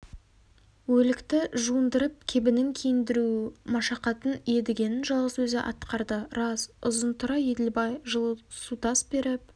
өлікті жуындырып кебінін киіндіру машақатын едігенің жалғыз өзі атқарды рас ұзынтұра еділбай жылы су тас беріп